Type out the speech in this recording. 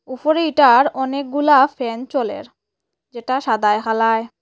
উপরে ইটার অনেকগুলা ফ্যান চলের যেটা সাদায় হালায়।